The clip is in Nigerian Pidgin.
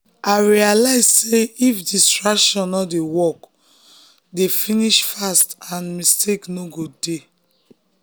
i realize sey if distraction no dey work dey finish fast and mistakes no go dey.